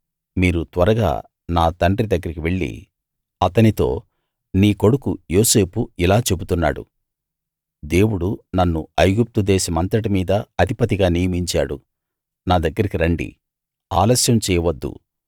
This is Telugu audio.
మీరు త్వరగా నా తండ్రి దగ్గరికి వెళ్ళి అతనితో నీ కొడుకు యోసేపు ఇలా చెబుతున్నాడుదేవుడు నన్ను ఐగుప్తు దేశమంతటి మీదా అధిపతిగా నియమించాడు నా దగ్గరికి రండి ఆలస్యం చేయవద్దు